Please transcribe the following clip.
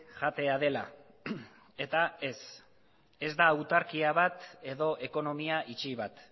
jatea dela eta ez ez da autarkia bat edo ekonomia itxi bat